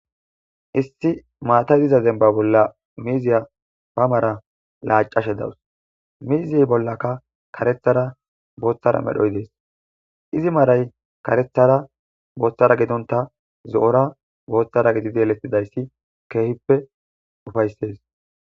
Issi maatay diza zemba bolla miiziya pamara laacashe dawus miizey bollaka karethara booththara medhoy dees izi maray karethara booththara gedonta zo'ora booththara gidideelettidayssi keehippe ufayssees.